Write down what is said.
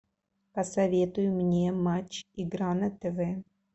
посоветуй мне матч игра на тв